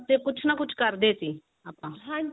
ਕੁਛ ਨਾ ਕੁਛ ਕਰਦੇ ਸੀ ਆਪਾਂ